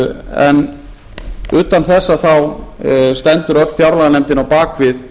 en utan þess þá stendur öll fjárlaganefndin á bak við